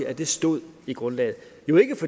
at det stod i grundlaget